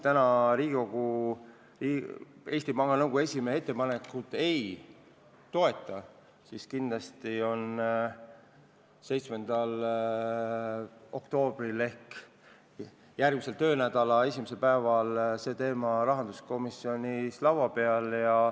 Kui Riigikogu Eesti Panga Nõukogu esimehe ettepanekut täna ei toeta, siis kindlasti on 7. oktoobril ehk järgmise töönädala esimesel päeval see teema rahanduskomisjonis laua peal.